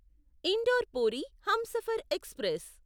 indoor Puri Humsafar express